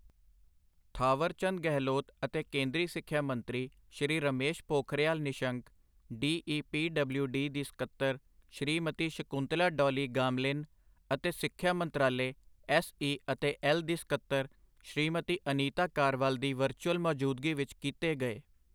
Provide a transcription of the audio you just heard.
ਥਾਵਰਚੰਦ ਗਹਿਲੋਤ ਅਤੇ ਕੇਂਦਰੀ ਸਿੱਖਿਆ ਮੰਤਰੀ ਸ਼੍ਰੀ ਰਮੇਸ਼ ਪੋਖਰਿਯਾਲ ਨਿਸ਼ੰਕ, ਡੀਈਪੀਡਬਲਿਊਡੀ ਦੀ ਸਕੱਤਰ ਸ਼੍ਰੀਮਤੀ ਸ਼ਕੁੰਤਲਾ ਡੌਲੀ ਗਾਮਲਿਨ, ਅਤੇ ਸਿੱਖਿਆ ਮੰਤਰਾਲੇ ਐੱਸਈ ਅਤੇ ਐੱਲ ਦੀ ਸਕੱਤਰ ਸ਼੍ਰੀਮਤੀ ਅਨੀਤਾ ਕਾਰਵਾਲ ਦੀ ਵਰਚੁਅਲ ਮੌਜੂਦਗੀ ਵਿੱਚ ਕੀਤੇ ਗਏ।